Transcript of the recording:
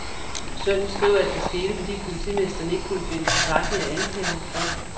Sønnen skriver, at det skete, fordi politimesteren ikke kunne finde tilstrækkeligt at anklage ham for.